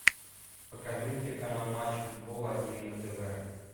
покажи мне телеканал матч футбол один на тв